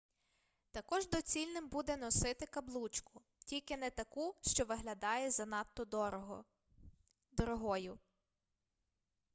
також доцільним буде носити каблучку тільки не таку що виглядає занадто дорогою